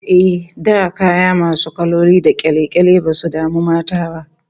Eh, da kaya masu kaloli da kyale-kyale basu damu mata ba